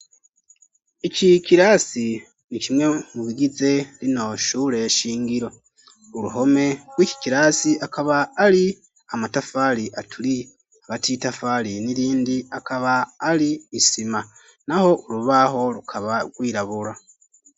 Iki kirasi ni kimwe mu bigize rino shure shingiro, uruhome gw'iki kirasi akaba ari amatafari aturiye hagati y'itafari nirindi hakaba ari isima naho urubaho rukaba gwirabura.